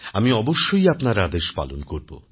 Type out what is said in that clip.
আমি অবশ্যই আপনার আদেশ পালন করব